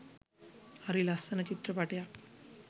හරි ලස්සන චිත්‍රපටියක්